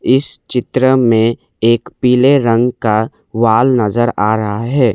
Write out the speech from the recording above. इस चित्र में एक पीले रंग का वाल नजर आ रहा है।